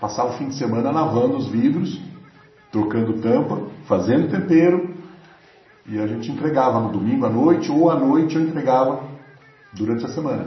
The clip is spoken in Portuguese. Passava o fim de semana lavando os vidros, trocando tampa, fazendo tempero e a gente entregava no domingo à noite ou à noite eu entregava durante a semana.